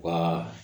Wa